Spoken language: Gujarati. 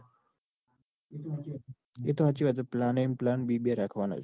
એતો હાચી વાત plan એ અને plan બી બે રાખવાના જ.